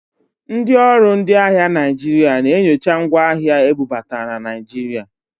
Ndị ọrụ ndị ahịa Naịjirịa na-enyocha ngwa ahịa ebubata na Naịjirịa.